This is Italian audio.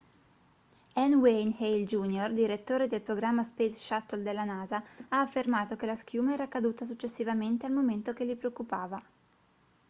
n wayne hale jr direttore del programma space shuttle della nasa ha affermato che la schiuma era caduta successivamente al momento che li preoccupava